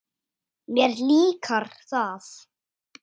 Mér líkar það.